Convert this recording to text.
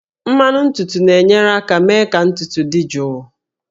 Mmanụ ntutu na-enyere aka mee ka ntutu dị jụụ